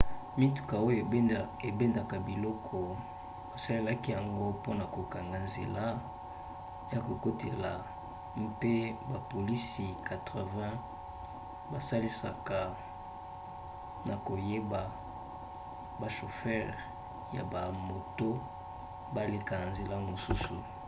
mituka oyo ebendaka biloko basalelaki yango mpona kokanga nzela ya kokotela mpe bapolisi 80 basalisaka na koyeba bashofere ya bamoto baleka na nzela mosusu